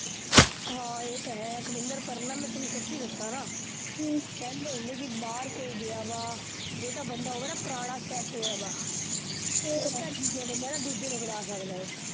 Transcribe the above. ਹਾਂ ਏਹ ਤਾਂ ਹੈ ਅਕਵਿਂਦਰ ਪਰ ਨਾ ਮੈਂ ਤੇਨੂੰ ਸੱਚੀ ਦੱਸਾਂ ਨਾ ਹਮ ਕਹਿੰਦੇ ਹੁੰਦੇ ਕੀ ਬਾਹਰ ਕੋਈ ਗਿਆ ਵਾਂ, ਜੇ ਤਾਂ ਬੰਦਾ ਹੋਵੇ ਨਾ ਪੁਰਾਣਾ set ਹੋਇਆ ਵਾਂ ਫੇਰ ਤਾਂ ਠੀਕ ਐ ਬੰਦਾ ਦੂਜੇ ਨੂੰ ਬੁਲਾ ਸਕਦਾ ਐ